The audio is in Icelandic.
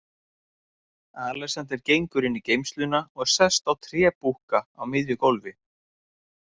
Alexander gengur inn í geymsluna og sest á trébúkka á miðju gólfi.